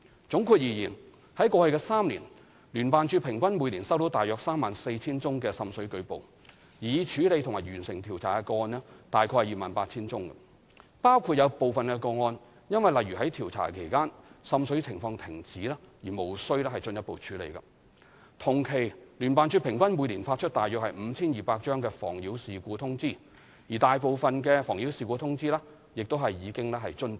總括而言，在過去3年，聯辦處平均每年收到約 34,000 宗滲水舉報，而已處理及完成調查的個案約 28,000 宗，包括有部分個案因例如在調查期間滲水情況停止而無需進一步處理，同期聯辦處平均每年發出約 5,200 張"妨擾事故通知"，而大部分"妨擾事故通知"亦已遵辦。